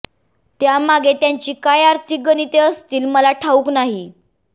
त्यामागे त्यांची काय आर्थिक गणिते असतील मला ठाउक नाही